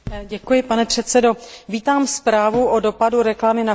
Vítám zprávu o dopadu reklamy na chování spotřebitelů.